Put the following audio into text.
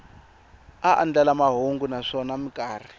a andlala mahungu naswona mikarhi